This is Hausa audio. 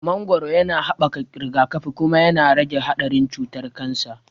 Mangoro yana haɓaka rigakafi, kuma yana rage haɗarin cutar kansa.